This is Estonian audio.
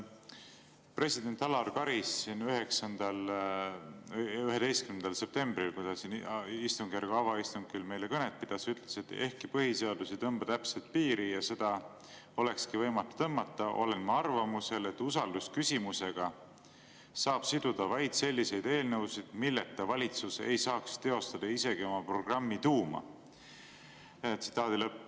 President Alar Karis ütles 11. septembril, kui ta siin istungjärgu avaistungil meile kõnet pidas, et "ehkki põhiseadus ei tõmba täpset piiri – ja seda olekski võimatu tõmmata –, olen ma arvamusel, et usaldusküsimusega saab siduda vaid selliseid eelnõusid, milleta valitsus ei saaks teostada isegi oma programmi tuuma.